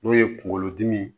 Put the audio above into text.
N'o ye kunkolodimi ye